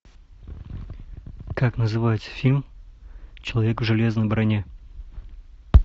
как называется фильм человек в железной броне